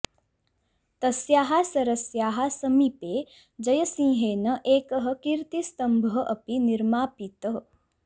तस्याः सरस्याः समीपे जयसिंहेन एकः कीर्तिस्तम्भः अपि निर्मापितः